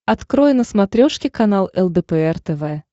открой на смотрешке канал лдпр тв